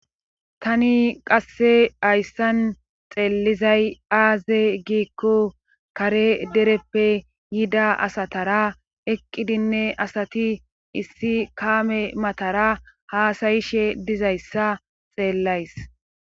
tani qasse hayssan xeellizay aaze giikko kare dereppe yida asatara eqqidinne asati issi kaame matara haasayishe dizayssa xeellays